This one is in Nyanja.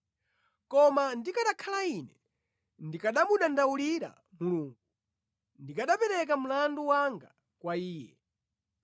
“Koma ndikanakhala ine, ndikanamudandawulira Mulungu; ndikanapereka mlandu wanga kwa Iye.